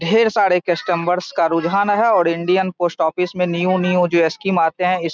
ढेर सारे कस्टमर्स का रूझान है और इंडियन पोस्‍ट ऑफिस में न्‍यू न्‍यू जो अस्किम आते हैं इ --